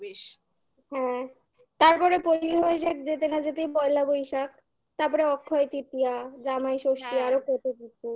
হ্যাঁ তারপরে যেতে না যেতেই পয়লা বৈশাখ তারপরে অক্ষয় তৃতীয়া ,জামাই ষষ্ঠী, হ্যাঁ আরো কত কিছু